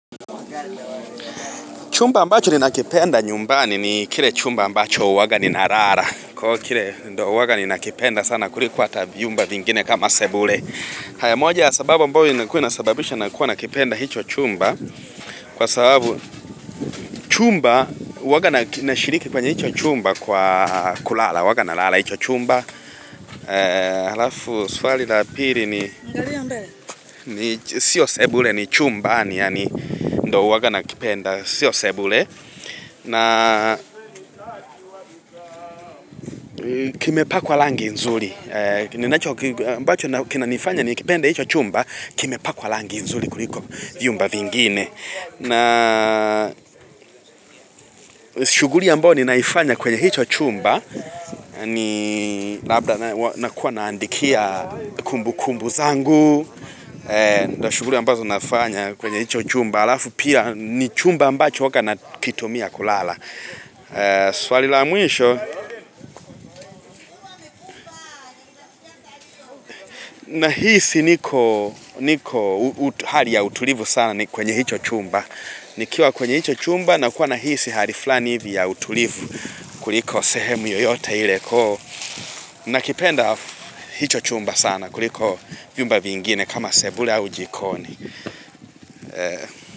Chumba ambacho ninakipenda nyumbani ni kile chumba mbacho huwaga ninalala Kwa hiyo kile ndio huwanga ninakipenda sana kuliko hata vyumba vingine kama sebule haya moja ya sababu mbayo inakuwa inasababisha nakuwa nakipenda hicho chumba Kwa sababu huwaga nashiriki kwenye hicho chumba kwa kulala huwaga na lala hicho chumba Halafu swali la pili. Sio sebule ni chumbani yani ndiyo huwaga nakipenda, sio sebule. Na kimepakwa rangi nzuri. Ambacho kinanifanya nikipenda hicho chumba, kimepakwa rangi nzuri kuliko vyumba vingine. Na shuguli ambayo ninaifanya kwenye hicho chumba, ni labda nakuwa naandikia kumbukumbu zangu. Shuguli ambazo nafanya kwenye hicho chumba. Alafu pia ni chumba ambacho huwaga nakitumia kulala. Swali la mwisho, nahisi niko hali ya utulivu sana kwenye hicho chumba. Nikiwa kwenye hicho chumba nakuwa nahisi hali fulani hivi ya utulivu kuliko sehemu yoyote ile. Nakipenda hicho chumba sana kuliko vyumba vingine kama sebule au jikoni.